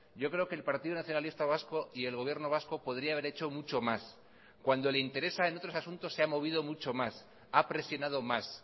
yo creo que el partido nacionalista vasco y el gobierno vasco podría haber hecho mucho más cuando le interesa en otros asuntos se ha movido mucho más ha presionado más